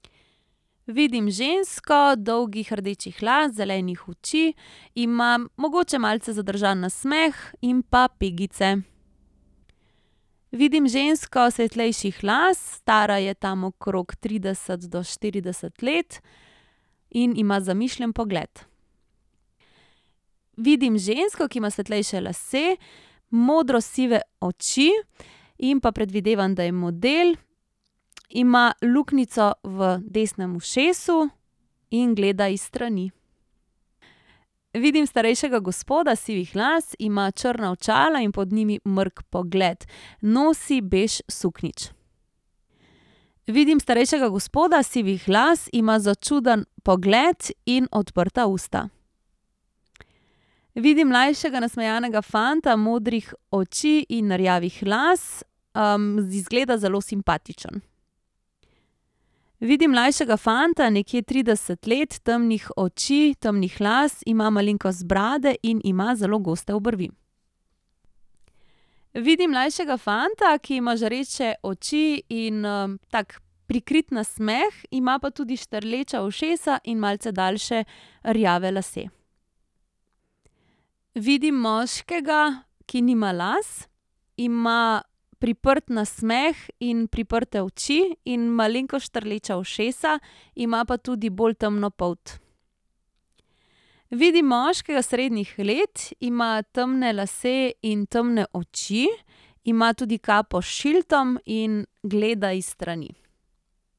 Vidim žensko, dolgih rdečih las, zelenih oči. Ima mogoče malce zadržan nasmeh in pa pegice. Vidim žensko svetlejših las. Stara je tam okrog trideset do štirideset let in ima zamišljen pogled. Vidim žensko, ki ima svetlejše lase, modrosive oči in pa predvidevam, da je model. Ima luknjico v desnem ušesu in gleda iz strani. Vidim starejšega gospoda sivih las. Ima črna očala in pod njimi mrk pogled. Nosi bež suknjič. Vidim starejšega gospoda sivih las. Ima začuden pogled in odprta usta. Vidim mlajšega, nasmejanega fanta modrih oči in rjavih las, izgleda zelo simpatičen. Vidim mlajšega fanta, nekje trideset let, temnih oči, temnih las. Ima malenkost brade in ima zelo goste obrvi. Vidim mlajšega fanta, ki ima žareče oči in, tak, prikrit nasmeh. Ima pa tudi štrleča ušesa in malce daljše rjave lase. Vidim moškega, ki nima las. Ima priprt nasmeh in priprte oči in malenkost štrleča ušesa. Ima pa tudi bolj temno polt. Vidim moškega srednjih let, ima temne lase in temne oči. Ima tudi kapo s šildom in gleda iz strani.